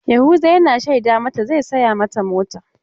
Yahuza yana shaida mata zai saya mata mota.